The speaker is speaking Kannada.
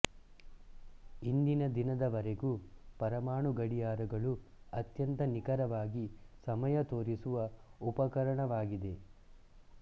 ಇಂದಿನ ದಿನದವರೆಗೂ ಪರಮಾಣು ಗಡಿಯಾರಗಳು ಅತ್ಯಂತ ನಿಖರವಾಗಿ ಸಮಯ ತೋರಿಸುವ ಉಪಕರಣವಾಗಿದೆ